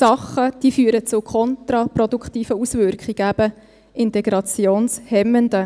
Dinge, diese führen zu kontraproduktiven Auswirkungen, eben zu integrationshemmenden.